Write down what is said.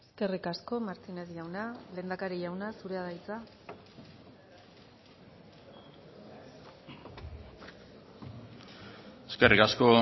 eskerrik asko martínez jauna lehendakari jauna zurea da hitza eskerrik asko